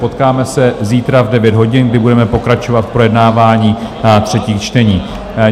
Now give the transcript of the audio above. Potkáme se zítra v 9 hodin, kdy budeme pokračovat v projednávání třetích čtení.